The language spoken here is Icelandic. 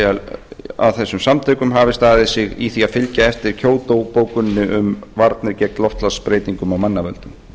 er að þessum samtökum hafi staðið sig í því að fylgja eftir kyoto bókuninni um varnir gegn loftslagsbreytingum af mannavöldum